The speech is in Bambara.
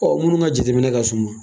Ɔ munnu ka jateminɛ ka su ma.